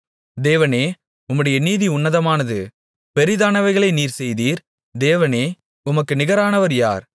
தேவனே உம்முடைய நீதி உன்னதமானது பெரிதானவைகளை நீர் செய்தீர் தேவனே உமக்கு நிகரானவர் யார்